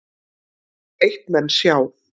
Eitt menn sjá